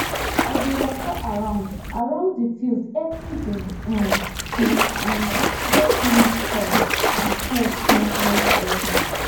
i dey waka around around the field every day um to um spot leaf curl and pest movement early